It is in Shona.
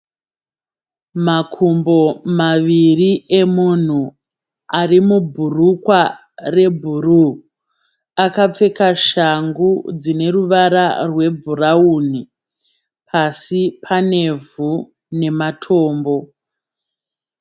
Makumbo maviri emunhu ari mubhurukwa rebhuruu. Akapfeka shangu dzine ruvara rwebhurawuni. Pasi panevhu nematombo.